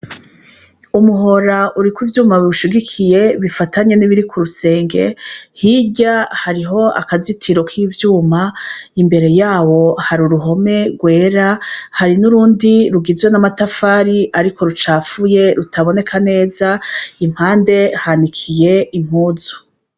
Umuhora uriko ivyuma biwushigikiye bifatanye n'ibiri kurusenge. Hirya hari akazitiro k'ivyuma, imbere yawo hari uruhome rwera. Hari n'urundi rugizwe n'amatafari ariko rucafuye rutaaboneka neza, impande hanikiye impuzu.